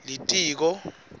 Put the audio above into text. litiko